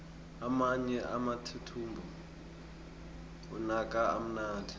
amanye amathuthumbo anuka kamnandi